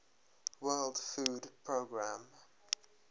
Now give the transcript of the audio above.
world food programme